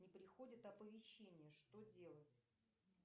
не приходит оповещение что делать